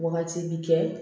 Wagati bi kɛ